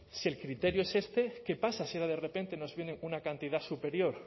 si el criterio es este qué pasa si ahora de repente nos viene una cantidad superior